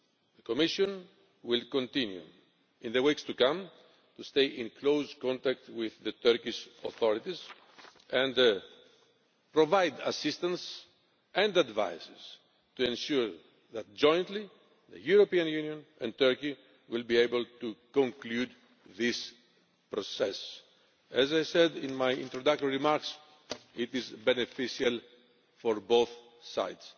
The Commission will continue in the weeks to come to stay in close contact with the Turkish authorities and provide assistance and advice to ensure that jointly the European Union and Turkey will be able to conclude this process. As I said in my introductory remarks, it is beneficial for both sides.